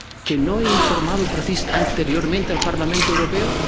¿Que no he informado anteriormente al Parlamento Europeo?